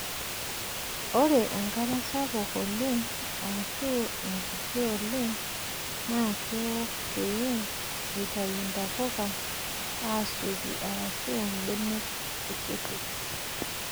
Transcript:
Ore enkare sapuk oleng' aashu enkiti oleng' naa keiko pee eitayu ntapuka aasioki aashu mbenek kutitik.